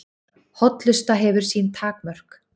Hollusta hefur sín takmörk